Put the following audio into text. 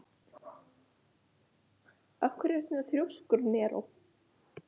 Af hverju ertu svona þrjóskur, Neró?